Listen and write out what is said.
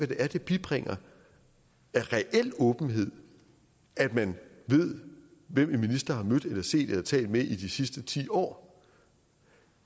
det er det bibringer af reel åbenhed at man ved hvem en minister har mødt eller set eller talt med i de sidste ti år